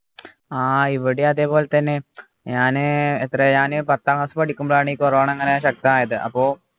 ആഹ് ഇവിടെ അതേപോലെതന്നെ ഞാന് എത്രയാണ് പത്താം ക്ലാസ് പഠിക്കുമ്പോഴാണ് ഈ corona ഇങ്ങനെ ശക്തമായത് അപ്പോ